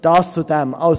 Dies hierzu.